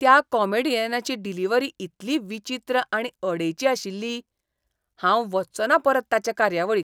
त्या कॉमेडियनाची डिलिव्हरी इतली विचित्र आनी अडेची आशिल्ली! हांव वच्चों ना परत ताचे कार्यावळीक.